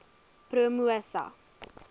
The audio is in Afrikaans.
promosa